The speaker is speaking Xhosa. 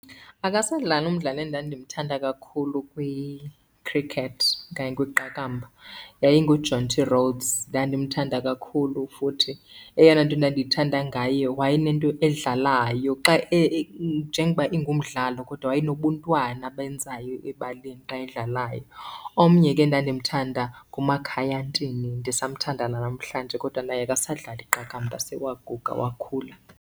Akasadlali umdlali endandimthanda kakhulu kwi-cricket okanye kwiqakamba. Yayingu Jonty Rhodes, ndandimthanda kakhulu futhi eyona nto endandiyithanda ngaye wayenento edlalayo xa , njengoba ingumdlalo kodwa wayenobuntwana abenzayo ebaleni xa edlalayo. Omnye ke endandimthanda nguMakhaya Ntini, ndisamthanda nanamhlanje kodwa naye akasadlali iqakamba sewaguga wakhula.